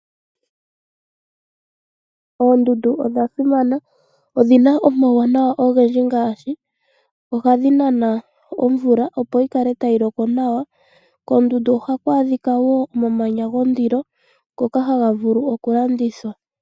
Oondundu odha simana. Odhina omawuwanawa ogendji ngaashi ohadhi nana omvula opo yi kale tayi loko nawa. Koondundu ohaku adhikwa wo omamanya gondilo ngoka haga vulu oku landithwa.